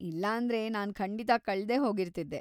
ಇಲ್ಲಾಂದ್ರೆ ನಾನ್‌ ಖಂಡಿತ ಕಳ್ದೇ ಹೋಗಿರ್ತಿದ್ದೆ.